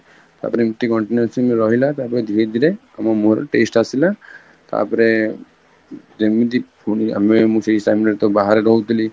ତାପରେ ଏମିତି continuously ରହିଲା ତାପରେ ଧୀରେ ଧୀରେ ଆମ ମୁହଁର taste ଆସିଲା ତାପରେ ଯେମିତି ପୁଣି ଆମେ ସେଇ time ରେ ତ ବାହାରେ ରହୁଥିଲି